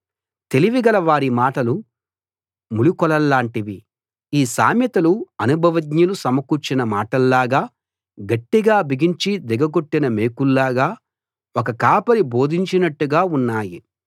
తెలివి గల వారి మాటలు ములుకోలల్లాంటివి ఈ సామెతలు అనుభవజ్ఞులు సమకూర్చిన మాటల్లాగా గట్టిగా బిగించి దిగగొట్టిన మేకుల్లాగా ఒక కాపరి బోధించినట్టుగా ఉన్నాయి